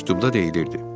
Məktubda deyilirdi: